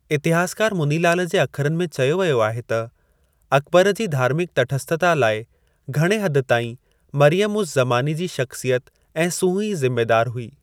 इतिहासकार मुनिलाल जे अखरनि में चयो वियो आहे त, 'अकबर जी धार्मिक तटस्थता लाइ घणे हद ताईं मरियम-उज़-ज़मानी जी शख्सियत ऐं सूंह ई ज़िमेदार हुई।